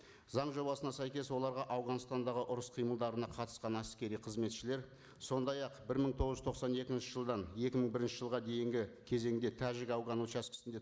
заң жобасына сәйкес оларға ауғанстандағы ұрыс қимылдарына қатысқан әскери қызметшілер сондай ақ бір мың тоғыз жүз тоқсан екінші жылдан екі мың бірінші жылға дейінгі кезеңде тәжік ауған учаскесінде